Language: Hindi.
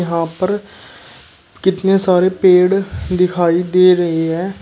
यहां पर कितने सारे पेड़ दिखाई दे रहे हैं।